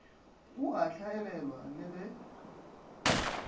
o a hlaelelwa le ge